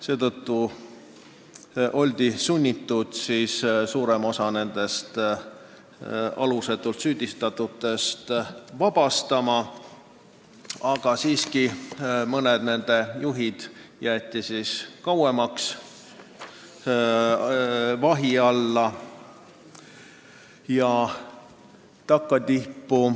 Seetõttu oldi sunnitud suurem osa nendest alusetult süüdistatutest vabastama, aga mõned juhid jäeti kauemaks vahi alla.